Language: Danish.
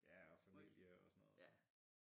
Ja og familie og sådan noget